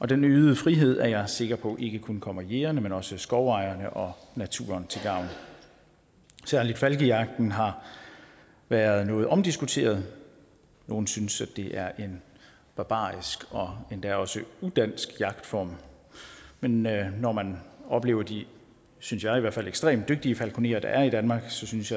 den øgede frihed er jeg sikker på ikke kun kommer jægerne men også skovejerne og naturen til gavn særlig falkejagten har været noget omdiskuteret nogle synes at det er en barbarisk og endda også udansk jagtform men når når man oplever de synes jeg i hvert fald ekstremt dygtige falkonerer der er i danmark så synes